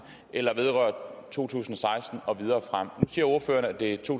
eller vedrører to tusind og seksten og videre frem siger ordføreren at det er to